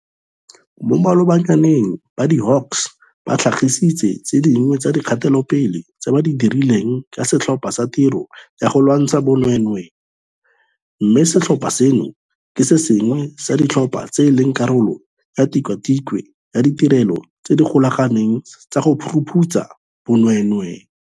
Mo malobanyaneng ba di-Hawks ba tlhagisitse tse dingwe tsa dikgatelopele tse ba di dirileng ka Setlhopha sa Tiro ya go Lwantsha Bonweenwee, mme setlhopha seno ke se sengwe sa ditlhopha tse e leng karolo ya Tikwatikwe ya Ditirelo tse di Golaganeng tsa go Phuruphutsha Bonweenwee.